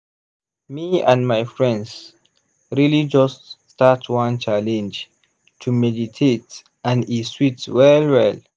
me and my friends really just start one challenge to meditate and e sweet well well.